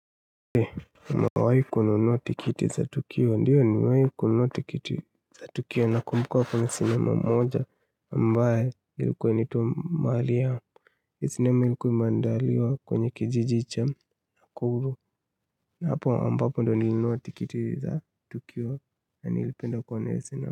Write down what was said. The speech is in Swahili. Ndiyo nimewahi kununua tikiti za tukio nakumbuka kuna sinema mmoja ambayo ilikuwa initwa mahali ya sinema ilikuwa imeandaliwa kwenye kijiji cha kuru na hapo ambapo ndio nilinunua tikiti za tukio na nilipenda kuona hiyo sinema.